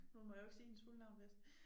Nu må jo ikke sige hendes fulde navn vist